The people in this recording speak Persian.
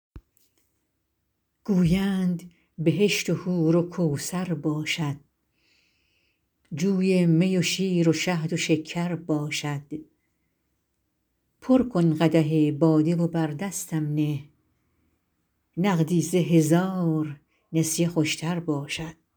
گویند بهشت و حور و کوثر باشد جوی می و شیر و شهد و شکر باشد پر کن قدح باده و بر دستم نه نقدی ز هزار نسیه خوش تر باشد